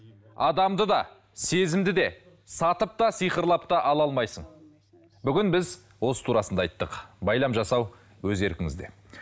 адамды да сезімді де сатып та сиқырлап та ала алмайсың бүгін біз осы турасында айттық байлам жасау өз еркіңізде